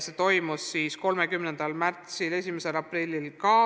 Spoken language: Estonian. See toimus 30. märtsil ja 1. aprillil.